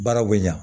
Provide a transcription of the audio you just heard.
Baaraw bɛ ɲa